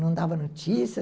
Não dava notícia.